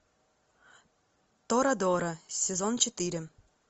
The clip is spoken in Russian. торадора сезон четыре